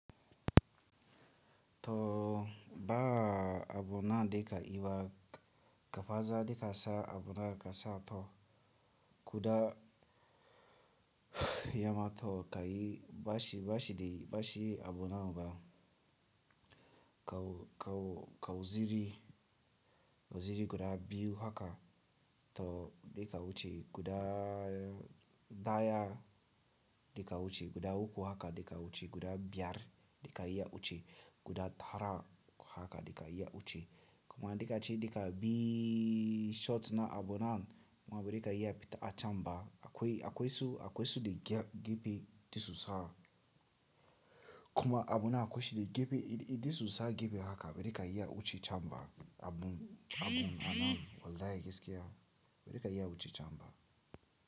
To, baa abuna de ka iwa kafaza de kasa abuna kasa to kuda yama to ka yi bashi, bashi de bashi abuna ba. Kau, kau, kau ziri, ziri guda biyu haka, to de ka wuce guda daya, de ka wuce, guda uku haka de ka wuce, guda biyar de ka iya wuce, guda tara haka de ka iya wuce. Kuma a dika ce dika bi, shorts na abunan ma bari ka iya fita a can ba, akwai, akwai su, akwai su de gepe disusa. Kuma abuna akwai shi de gepe, iddisusa gepe haka bari ka iya wuce can ba abun, abun ana wallahi gaskiya bari ka iya wuce can ba.